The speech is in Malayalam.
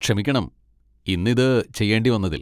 ക്ഷമിക്കണം, ഇന്ന് ഇത് ചെയ്യേണ്ടി വന്നതിൽ.